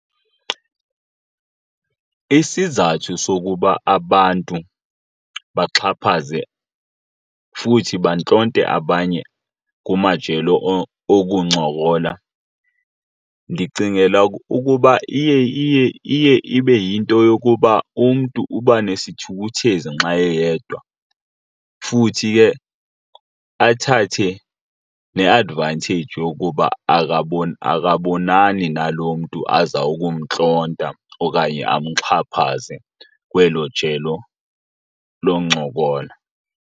Isizathu sokuba abantu baxhaphaze futhi bantlonte abanye kumajelo okuncokola ndicingela ukuba iye ibe yinto yokuba umntu uba nesithukuthezi nxa eyedwa, futhi ke athathe ne-advantage yokuba akabonani nalo mntu aza kumntlonta okanye amxhaphaze kwelo jelo loncokola.